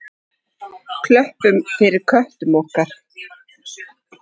Klöppum fyrir köttum okkar!